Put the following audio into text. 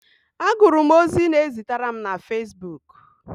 Agụrụ m ozi ị na-ezitere m na facebook